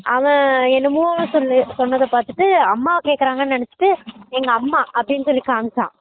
அவன் என்னமோ சொல் சொன்னத பாத்துட்டு அம்மா கேகுரங்கனு நினச்சுட்டு எங்க அம்மா அப்படினு சொல்லி காமிச்சான்